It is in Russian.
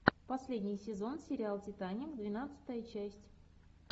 последний сезон сериал титаник двенадцатая часть